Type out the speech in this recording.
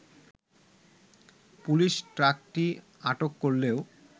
police ট্রাকটি আটক করলেও